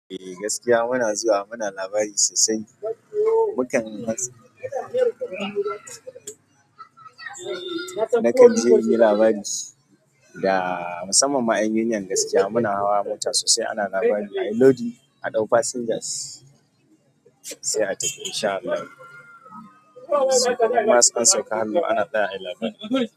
Eh gaskiya muna zuwa muna labari sosai. Mukan na kan je yin labari da musamman ma 'yan yanayin gaskiya. Muna hawa mota sosai ana labari a yi lodi, a ɗau passengers sai a tafi in sha Allahu. Nasan sauka hannu ana ɗaya a yi labari.